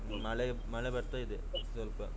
ಮಳೆ ಮಳೆ ಬರ್ತಾ ಇದೆ ಸ್ವಲ್ಪ.